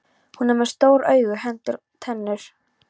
Hún er með stór augu, hendur, tennur.